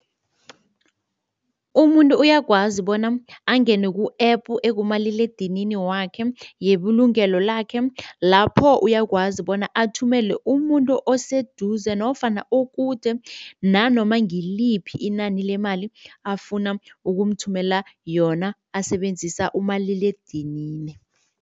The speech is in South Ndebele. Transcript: Umuntu uyakwazi bona angene ku-app ekumaliledinini wakhe yebulungelo lakhe lapho uyakwazi bona athumele umuntu oseduze nofana okude nanoma ngiliphi inani lemali afuna ukumthumela yona asebenzisa umaliledinini.